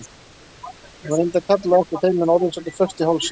Hún reyndi að kalla á eftir þeim en orðin sátu föst í hálsinum.